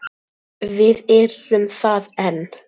Við erum það enn.